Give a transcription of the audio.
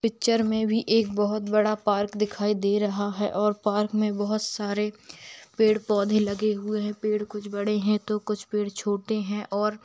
picture में भी एक बहोत बड़ा पार्क दिखाई दे रहा है और पार्क में बहुत सारे पेड़-पौधे लगे हुए है पेड़ कुछ बड़े है तो कुछ पेड़ छोटे है और --